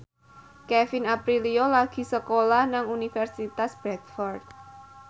Kevin Aprilio lagi sekolah nang Universitas Bradford